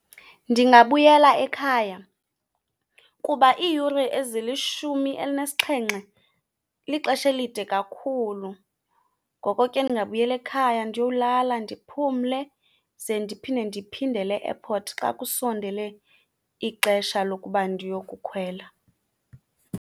Ndingabuyela ekhaya kuba iiyure ezilishumi elinesixhenxe lixesha elide kakhulu. Ngoko ke, ndingabuyela ekhaya ndiyowulala ndiphumle ze ndiphinde ndiphindele e-airport xa kusondele ixesha lokuba ndiyokukhwela.